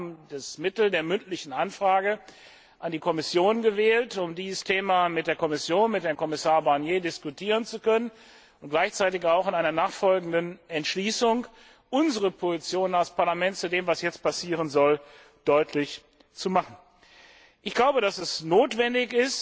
Vielmehr haben wir das Mittel der mündlichen Anfrage an die Kommission gewählt, um dieses Thema mit der Kommission, mit Herrn Kommissar Barnier, diskutieren zu können, und um gleichzeitig auch in einer nachfolgenden Entschließung unsere Position als Parlament zu dem, was jetzt passieren soll, deutlich zu machen. Es ist notwendig,